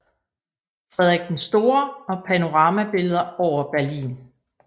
Frederik den Store og panoramabilleder over Berlin